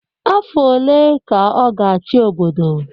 Afọ one ka ọ ga-achị obodo?